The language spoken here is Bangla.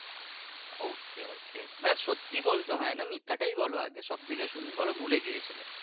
okay okay মানি সত্যি বলতে হয় না মানে মিথ্যাটাই বলো আগে সব দিকে শুনি বলো ভুলে গিয়েছিলে।